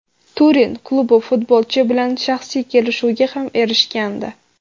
Turin klubi futbolchi bilan shaxsiy kelishuvga ham erishgandi.